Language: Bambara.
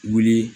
Wuli